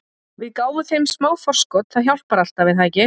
Við gáfum þeim smá forskot- það hjálpar alltaf, er það ekki?